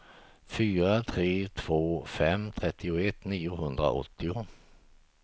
fyra tre två fem trettioett niohundraåttio